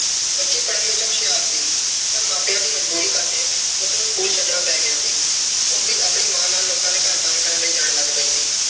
ਬੱਚੀ ਪੜ੍ਹਨ ਵਿੱਚ ਹੁਸ਼ਿਆਰ ਸੀ ਪਰ ਮਾਪਿਆਂ ਦੀ ਮਜ਼ਬੂਰੀ ਕਰਕੇ ਉਸ ਨੂੰ school ਛੱਡਣਾ ਪੈ ਗਿਆ ਸੀ। ਉਹ ਵੀ ਆਪਣੀ ਮਾਂ ਨਾਲ ਲੋਕਾਂ ਦੇ ਘਰ ਕੰਮ ਕਰਨ ਲਈ ਜਾਣ ਲੱਗ ਪਈ ਸੀ।